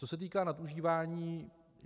Co se týká nadužívání.